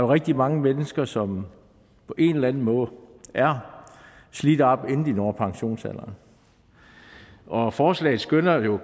rigtig mange mennesker som på en eller anden måde er slidt op inden de når pensionsalderen og forslaget skønner jo at